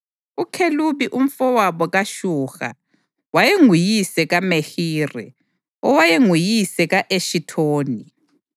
UKhelubi, umfowabo kaShuha, wayenguyise kaMehiri, owayenguyise ka-Eshithoni.